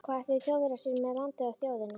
Hvað ætluðu Þjóðverjar sér með landið og þjóðina?